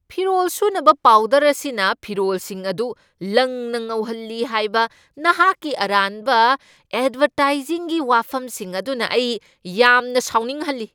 ꯐꯤꯔꯣꯜ ꯁꯨꯅꯕ ꯄꯥꯎꯗꯔ ꯑꯁꯤꯅ ꯐꯤꯔꯣꯜꯁꯤꯡ ꯑꯗꯨ ꯂꯪꯅ ꯉꯧꯍꯜꯂꯤ ꯍꯥꯏꯕ ꯅꯍꯥꯛꯀꯤ ꯑꯔꯥꯟꯕ ꯑꯦꯗꯚꯔꯇꯥꯏꯖꯤꯡꯒꯤ ꯋꯥꯐꯝꯁꯤꯡ ꯑꯗꯨꯅ ꯑꯩ ꯌꯥꯝꯅ ꯁꯥꯎꯅꯤꯡꯍꯜꯂꯤ꯫